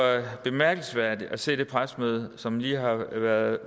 bemærkelsesværdigt at se det pressemøde som lige har været